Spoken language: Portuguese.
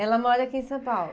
Ela mora aqui em São Paulo?